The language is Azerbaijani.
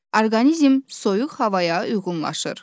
Orqanizm soyuq havaya uyğunlaşır.